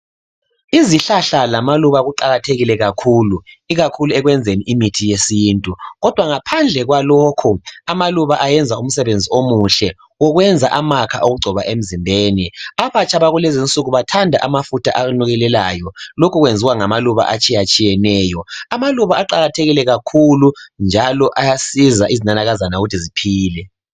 Izihlahla lamaluba kuqakathekile kakhulu. Ikakhulu ekwenzeni imithi yesintu kodwa ngaphandle kwalokho amaluba ayenza umsebenzi omuhle. Okwenza amakha okungcoba emzimbeni. Abatsha bakulezi nsuku bathanda amafutha anukelelayo. Lokhu kwenziwa ngamaluba atshiyetehiyeneyo. Amaluba aqakathekile kakhulu njalo ayasiza izinanakazana ukuthi ziphile.